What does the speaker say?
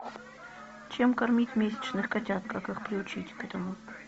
чем кормить месячных котят как их приучить к этому